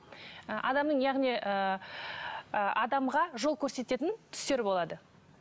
ы адамның яғни ыыы адамға жол көрсететін түстер болады